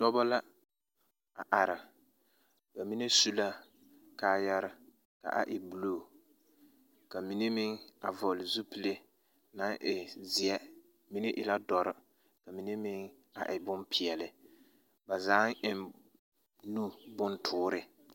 Dͻbͻ la a are, ba mine su la kaayare ka a e buluu, ka mine a vͻgele zupile naŋ zeԑ, mine e la dͻre ka mine a e bompeԑle. Ba zaa eŋ nu bontoore.